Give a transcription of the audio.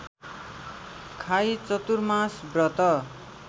खाई चतुर्मास व्रत